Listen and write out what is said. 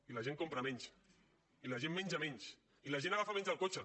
i la gent compra menys i la gent menja menys i la gent agafa menys el cotxe